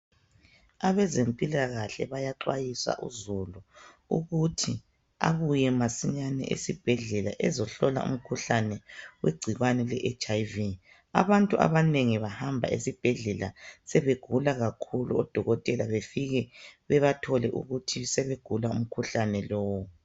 Abezempilakahle bayaxhwayisa uzulu ukuthi abuye masinyane esibhedlela ezohlola umkhuhlane wegcikwane le HIV. Abantu abanengi bahamba esibhedlela sebegula kakhulu odokotela befike bebathole ukuthi sebeguka umkhuhlane lowu.